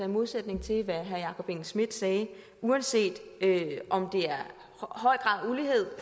modsætning til hvad herre jakob engel schmidt sagde uanset om